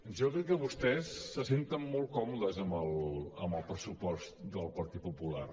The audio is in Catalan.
jo crec que vostès se senten molt còmodes amb el pressupost del partit popular